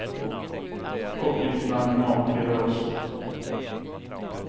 Koppling till bankomat blir det också.